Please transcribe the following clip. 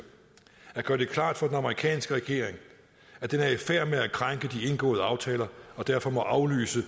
at gøre det klart for den amerikanske regering at den er i færd med at krænke de indgåede aftaler og derfor må aflyse